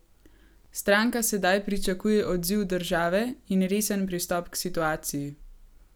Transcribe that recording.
Stranka sedaj pričakuje odziv države in resen pristop k situaciji.